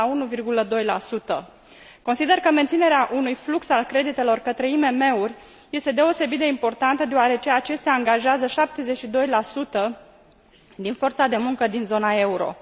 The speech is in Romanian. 1,2. Consider că menținerea unui flux al creditelor către IMM uri este deosebit de importantă deoarece acestea angajează 72 din forța de muncă din zona euro.